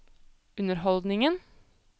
underholdningen